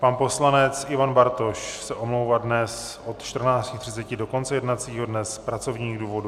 Pan poslanec Ivan Bartoš se omlouvá dnes od 14.30 do konce jednacího dne z pracovních důvodů.